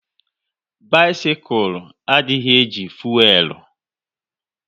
Bisikul adịghị e ji fuelu